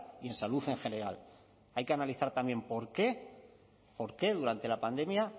y en salud en general hay que analizar también por qué por qué durante la pandemia